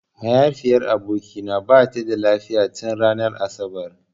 Mahaifiyar abokina bata da lafiya tin ranar asabar.